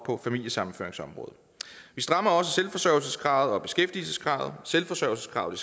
på familiesammenføringsområdet vi strammer også selvforsørgelseskravet og beskæftigelseskravet selvforsørgelseskravet